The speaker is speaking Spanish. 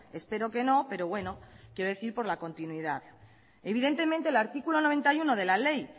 espero que no pero bueno quiero decir por la continuidad evidentemente el artículo noventa y uno de la ley